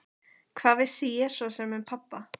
Hvað vissi ég svo sem um pabba?